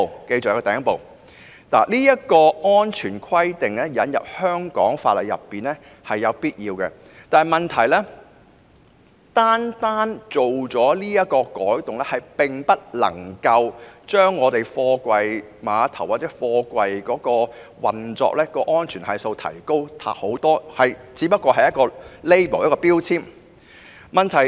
將這項安全規定納入香港法例，是有必要的，但問題是，單單這項改動無法提高貨櫃碼頭運作的安全系數，因為始終只是標籤。